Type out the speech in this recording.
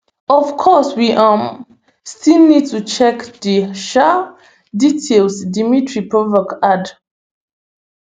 of course we um still need to check di um details dmitry peskov add